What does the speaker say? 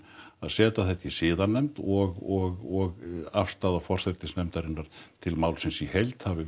að setja þetta í siðanefnd og afstaða forsætisnefndarinnar til málsins í heild hafi